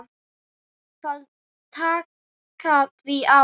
Það taki því á.